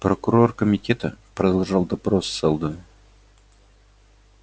прокурор комитета продолжал допрос сэлдона